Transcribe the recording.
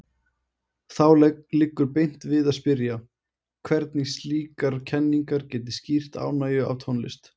Þá liggur beint við að spyrja, hvernig slíkar kenningar geti skýrt ánægju af tónlist.